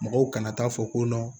Mɔgɔw kana taa fɔ ko